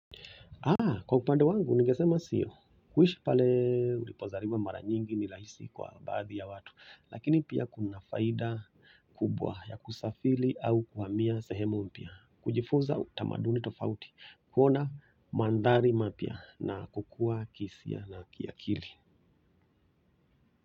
Kwa kupande wangu, ningesema sio, kuishi pale ulipozaliwa mara nyingi ni rahisi kwa baadhi ya watu lakini pia kuna faida kubwa ya kusafili au kuhamia sehemu mpya kujifunza utamaduni tofauti, kuona mandari mapya na kukua kisia na kiakili.